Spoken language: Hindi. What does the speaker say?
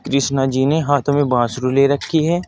कृष्णा जी ने हाथ में बांसुरी ले रखी है।